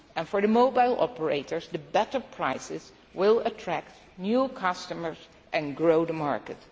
costs. For the mobile operators the better prices will attract new customers and grow the